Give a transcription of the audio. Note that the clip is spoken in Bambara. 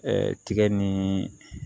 tigɛ ni